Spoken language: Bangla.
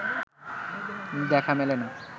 দেখা মেলে না